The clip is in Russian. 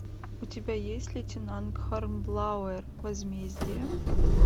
у тебя есть лейтенант хорнблауэр возмездие